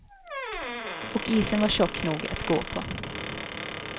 Och isen var tjock nog att gå på.